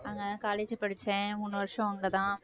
அங்க college படிச்சேன் மூணு வருஷம் அங்கதான்